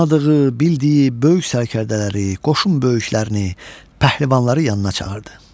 Tanıdığı, bildiyi böyük sərkərdələri, qoşun böyüklərini, pəhləvanları yanına çağırdı.